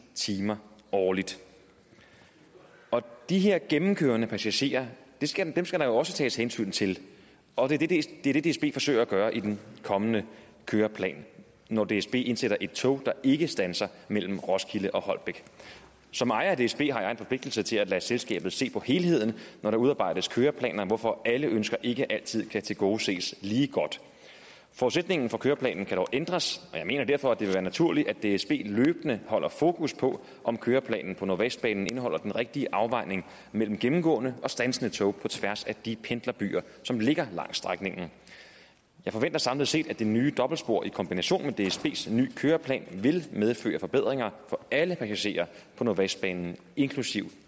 timer årligt de her gennemkørende passagerer skal skal der jo også tages hensyn til og det er det dsb forsøger at gøre i den kommende køreplan når dsb indsætter et tog der ikke standser mellem roskilde og holbæk som ejer af dsb har jeg en forpligtelse til at lade selskabet se på helheden når der udarbejdes køreplaner hvorfor alle ønsker ikke altid kan tilgodeses lige godt forudsætningen for køreplanen kan dog ændres og jeg mener derfor at det vil være naturligt at dsb løbende holder fokus på om køreplanen på nordvestbanen indeholder den rigtige afvejning mellem gennemgående og standsende tog på tværs af de pendlerbyer som ligger langs strækningen jeg forventer samlet set at det nye dobbeltspor i kombination med dsbs nye køreplan vil medføre forbedringer for alle passagerer på nordvestbanen inklusive